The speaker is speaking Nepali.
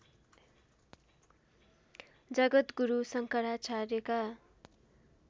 जगद्गुरु शङ्कराचार्यका